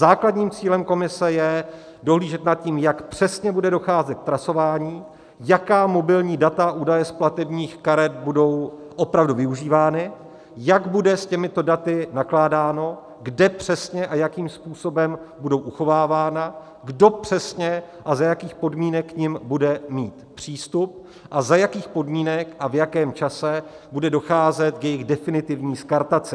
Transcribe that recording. Základním cílem komise je dohlížet nad tím, jak přesně bude docházet ke zpracování, jaká mobilní data a údaje z platebních karet budou opravdu využívána, jak bude s těmito daty nakládáno, kde přesně a jakým způsobem budou uchovávána, kdo přesně a za jakých podmínek k nim bude mít přístup a za jakých podmínek a v jakém čase bude docházet k jejich definitivní skartaci.